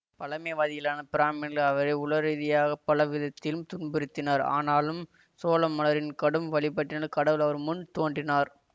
பழமைவாதிகளான பிராமின்கள் அவரை உளரீதியாகப் பலவிதத்திம் துன்புறுத்தினர் ஆனாலும் சோளமளரின் கடும் வழிபட்டினால் கடவுள் அவர் முன் தோன்றினார்